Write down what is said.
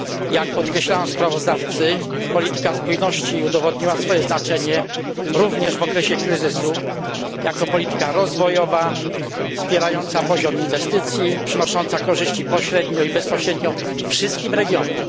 Jak podkreślają sprawozdawcy, polityka spójności udowodniła swoje znaczenie, również w okresie kryzysu, jako polityka rozwojowa, wspierająca poziom inwestycji, przynosząca korzyści pośrednio i bezpośrednio wszystkim regionom.